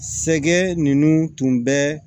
Sɛkɛ ninnu tun bɛ